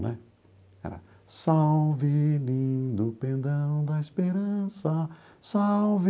Né, era... Salve, lindo pendão da esperança, salve!